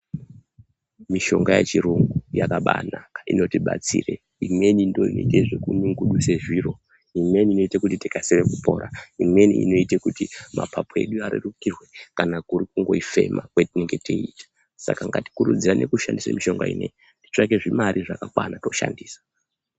Mishonga yechirungu yakabanaka inotibatsira imweni ndoinoita zvekunyungudusa zviro imweni inoita tikasire kupora imweni inoita kuti mapapu edu arerukirwe kana kuri kuifema kwega kwatinenge teita saka ngatikurudzire kushandisa mishonga iyi tione kutsvaga mare dzakakwana tione kushandisa.